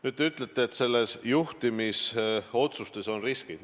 Nüüd, te ütlete, et juhtimisotsustes peituvad riskid.